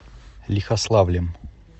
лихославлем